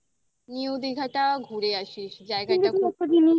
new দীঘাটা ঘুরে আসিস জায়গাটা